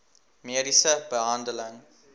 mediese behandeling